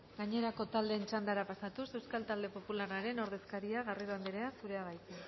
gainerako taldeen txandara pasatuz euskal talde popularraren ordezkaria garrido anderea zurea da hitza